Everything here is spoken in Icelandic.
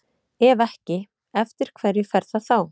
Ef ekki, eftir hverju fer það þá?